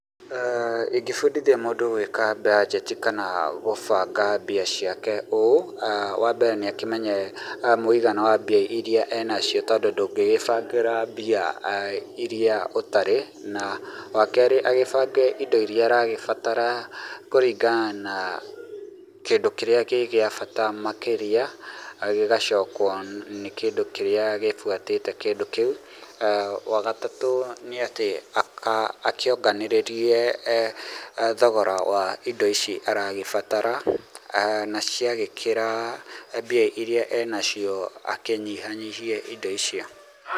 Ingĩbundithia mũndũ gwĩka mbanjeti kana gũbanga mbia ciake ũũ, wa mbere nĩ akĩmenye mũigana wa mbia iria e nacio tondũ ndũngĩgĩbangĩra mbia iria ũtarĩ, na wa kerĩ agĩbange indo iria aragĩbatara kũringana na kĩndũ kĩrĩa gĩ gĩa bata makĩria, gĩgacokwo nĩ kĩndũ kĩrĩa gĩbuatĩte kĩndũ kĩu, wa gatatũ nĩ atĩ akĩonganĩrĩrie thogora wa indo ici aragĩbatara, na ciagĩkĩra mbia iria e nacio akĩnyihanyihie indo icio.